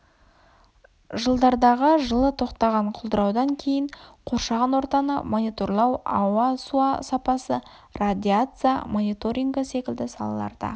жылдардағы жылы тоқтаған құлдыраудан кейін қоршаған ортаны мониторлау ауа су сапасы радиация мониторингі секілді салаларда